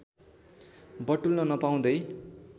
बटुल्न नपाउँदै